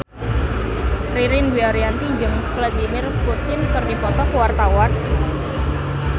Ririn Dwi Ariyanti jeung Vladimir Putin keur dipoto ku wartawan